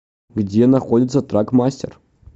где находится трак мастер